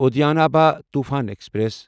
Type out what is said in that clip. Udyan Abha Toofan express